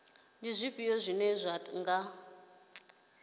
ndi zwifhio zwine zwa nga